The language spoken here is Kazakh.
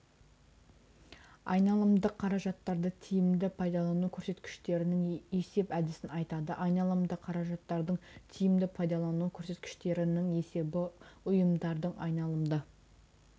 айналымдық қаражаттарды тиімді пайдалану көрсеткіштерінің есеп әдісін айтады айналымды қаражаттардың тиімді пайдалану көрсеткіштерінің есебі ұйымдардың айналымды